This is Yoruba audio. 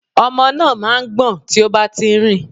Ọmọ náà má a ń gbọ̀n tí ó bá ti nrìn